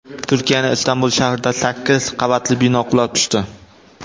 Turkiyaning Istanbul shahrida sakkiz qavatli bino qulab tushdi.